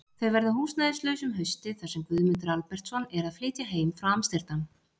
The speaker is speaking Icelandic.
Þau verða húsnæðislaus um haustið þar sem Guðmundur Albertsson er að flytja heim frá Amsterdam.